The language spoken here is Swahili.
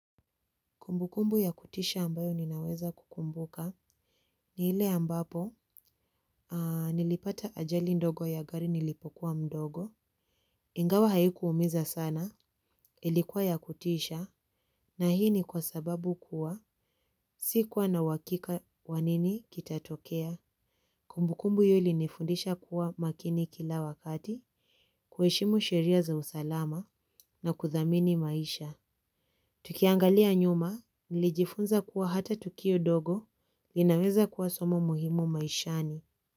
Kumbukumbu ya kutisha ambayo ninaweza kukumbuka ni ile ambapo nilipata ajali ndogo ya gari nilipokuwa mdogo. Ingawa haiku umiza sana ilikuwa ya kutisha na hii ni kwa sababu kuwa sikuwa na uhakika wa nini kitatokea. Kumbukumbu hiyo ilinifundisha kuwa makini kila wakati kuheshimu sheria za usalama na kudhamini maisha. Tukiangalia nyuma, nilijifunza kuwa hata tukio dogo, linaweza kuwa somo muhimu maishani.